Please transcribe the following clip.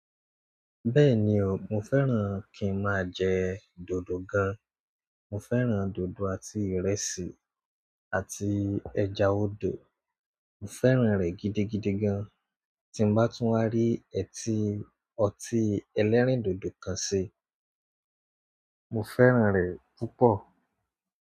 Bẹ́ẹ̀ni o, mo fẹ́ràn kí ń máa jẹ dòdò gan. Mo fẹ́ràn dòdò àti ìrẹsì àti ẹja odò. Mo fẹ́ràn rẹ gidigidi gan, tí mo bá tún wá rí ẹ́ tí ọtí ẹlẹ́rìndòdò kan sí, mo fẹ́ràn rẹ púpọ̀.